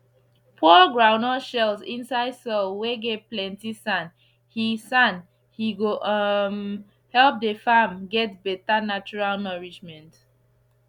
pour groundnut shells inside soil whey get plenty sand he sand he go um help the farm get better natural nourishment